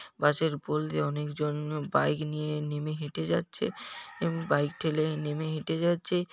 বাস পুল দিয়ে অনেকজন বাইক নিয়ে নেমে হেঁটে যাচ্ছে। বাইক ঠেলে নেমে হেঁটে যাচ্ছে।